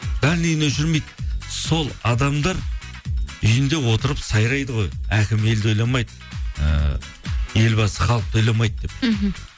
дальныйын өшірмейді сол адамдар үйінде отырып сайрайды ғой әкім елді ойламайды ыыы елбасы халықты ойламайды деп мхм